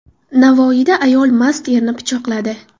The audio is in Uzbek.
Navoiyda ayol mast erini pichoqladi.